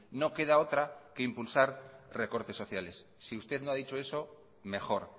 no queda otra que impulsar recortes sociales si usted no ha dicho eso mejor